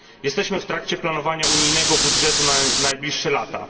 Jesteśmy w trakcie planowania unijnego budżetu na najbliższe lata.